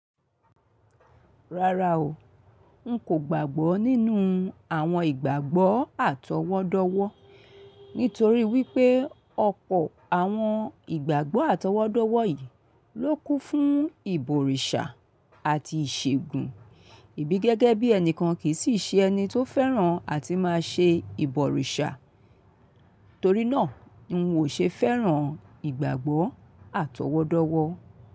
Rárá o, n kò gbàgbọ́ nínú àwọn ìgbàgbọ́ àtọwọ́dọ́wọ́ nítorí wípé ọ̀pọ̀ àwọn ìgbàgbọ́ àtọwọ́dọ́wọ́ yìí ló kún fún ìbọ̀rìṣà àti ìṣègùn, èmi gẹ́gẹ́ bí ẹnìkan kì í sì ṣe ẹni tó fẹ́ràn àti màa se ìbọ̀rìṣà. Torí náà, n ò ṣe fẹ́ràn ìgbàgbọ́ àtọwọ́dọ́wọ́.